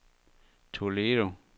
Toledo